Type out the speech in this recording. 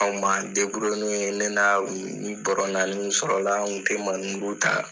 An kun m'an ne na ni bɔrɔ naani kun sɔrɔ la an kun tɛ ta.